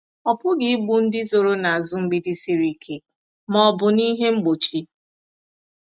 Ọ pụghị igbu ndị zoro n’azụ mgbidi siri ike ma ọ bụ n'ihe mgbochi.